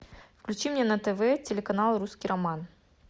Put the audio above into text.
включи мне на тв телеканал русский роман